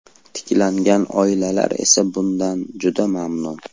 Tiklangan oilalar esa bundan juda mamnun.